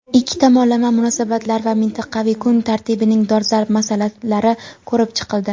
Ikki tomonlama munosabatlar va mintaqaviy kun tartibining dolzarb masalalari ko‘rib chiqildi.